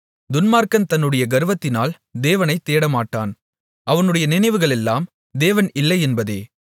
துன்மார்க்கன் தன்னுடைய கர்வத்தினால் தேவனைத் தேடமாட்டான் அவனுடைய நினைவுகளெல்லாம் தேவன் இல்லை என்பதே